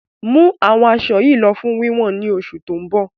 Mú àwọn asọ yí lọ fún wíwọ̀n ni oṣù tó ń bọ̀!